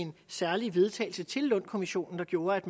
en særlig vedtagelse til lund kommissionen der gjorde at